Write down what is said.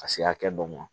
Ka se hakɛ dɔ ma